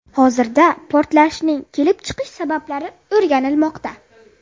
Hozirda portlashning kelib chiqish sabablari o‘rganilmoqda.